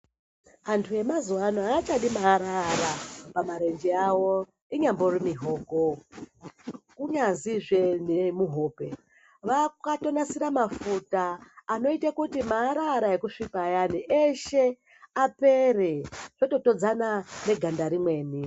Anthu emazuwaano aachadi maara ara pamarenje awo inyambori mioko kunyazi zve nemuhope vakatonasira mafuta anoita kuti maara ara ekusvipa ayani eshe apere zvototodzana neganda rimweni.